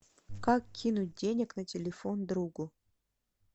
как кинуть денег на телефон другу